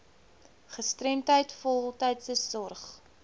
gestremdheid voltydse sorg